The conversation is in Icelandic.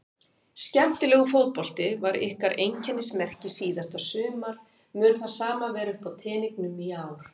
Skemmtilegur fótbolti var ykkar einkennismerki síðasta sumar mun það sama vera uppá teningnum í ár?